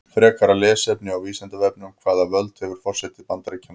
Frekara lesefni á Vísindavefnum: Hvaða völd hefur forseti Bandaríkjanna?